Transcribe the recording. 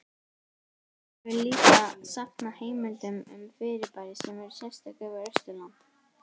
Helgi hefur líka safnað heimildum um fyrirbæri sem eru sérstök fyrir Austurland.